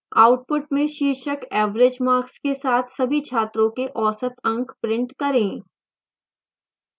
output में शीर्षक average marks के साथ सभी छात्रों के औसत अंक print करें